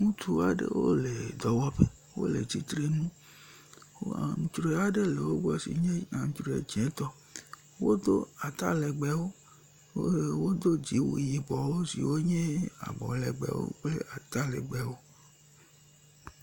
Ŋutsu aɖewo le dɔwɔƒe. Wole tsitre ŋu. Aŋtsria aɖe le wo gbɔ si nye aŋtsri dzẽtɔ. Wodo atalegbewo, wodo dziwu yibɔ siwo nye abɔlegbewo kple atalegbewo.